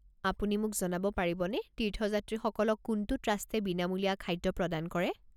আপুনি মোক জনাব পাৰিবনে তীৰ্থযাত্ৰীসকলক কোনটো ট্ৰাষ্টে বিনমূলীয়া খাদ্য প্ৰদান কৰে?